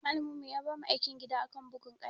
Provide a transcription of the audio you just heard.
Malamin mu ya bamu aikin gida akan bugun kaya.